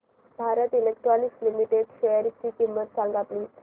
Bharat electronics limited शेअरची किंमत सांगा प्लीज